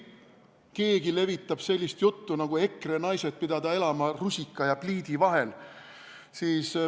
Keegi levitab sellist juttu, et EKRE naised pidavat elama rusika ja pliidi vahel.